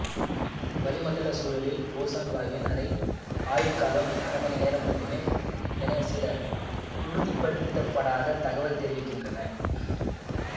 வளிமண்டல சூழலில் ஓசோன் வாயுவின் அரை ஆயுட்காலம் அரைமணி நேரம் மட்டுமே என சில உறுதிப்படுத்தப்படாத தகவல்கள் தெரிவிக்கின்றன